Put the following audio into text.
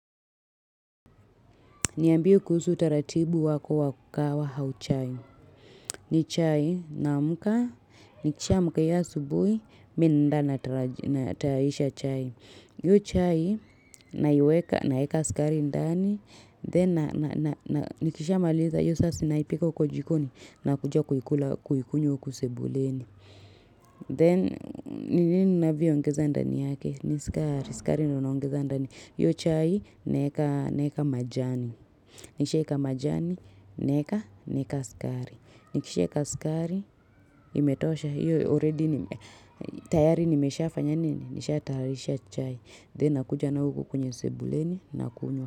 Niambie kuhusu taratibu wako wa kahawa au chai. Ni chai naamka. Nikishaamka ya subuhi. Mimi naenda natayarisha chai. Hiyo chai naiweka naeka sukari ndani. Then nikishamaliza. Hio sasi naipika ukojikoni. Na kuja kuikula kuikunywa uku sebuleni. Then ni nini navio ongeza ndani yake. Ni skari. Skari no naongeza ndani. Hio chai naeka na eka majani. Nishaeka majani, neka, neka skari. Nikishaeka skari, imetosha. Hio already, tayari nimesha fanyanini. Nisha taalisha chai. Then nakuja na uku kwenye sebuleni na kunywa.